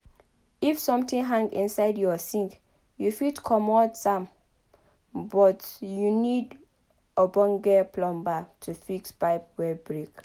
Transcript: if something hang inside your sink you fit comot am but you need ogbonge plumber to fix pipe wey break